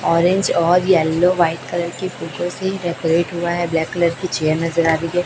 Orange और yellow white colour के से डेकोरेट हुआ है ब्लैक कलर की चेयर नजर आ रही है।